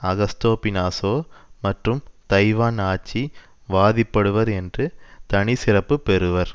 Augusto Pinochet மற்றும் Taiwan ஆட்சி வாதிபடுவர் என்று தனி சிறப்பு பெறுவர்